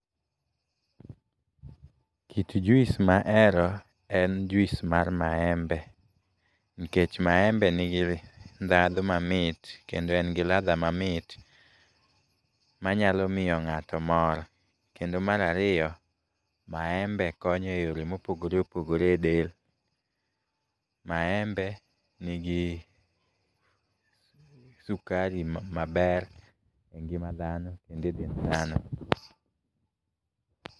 Kit juis mahero en juis mar maembe, nkech maembe nigi ndhandhu mamit kendo en gi ladha mamit manyalo miyo ng'ato mor. Kendo mar ariyo, maembe konyo e yore mopogore opogore e del. Maembe nigi sukari maber e ngima dhano kendo e dend dhano.